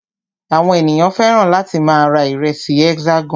Àwọn ènìyàn fẹ́ràn láti máa ra ìrẹsì Hexagon.